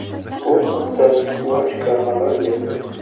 Bu haqda Squawka xabar berdi .